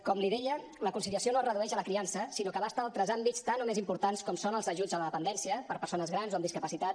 com li deia la conciliació no es redueix a la criança sinó que abasta altres àmbits tant o més importants com són els ajuts a la dependència per a persones grans o amb discapacitat